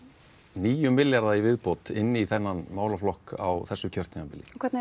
níu milljarða í viðbót inn í þennan málaflokk á þessu kjörtímabili og hvernig